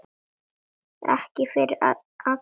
Ekki fyrir allra augum.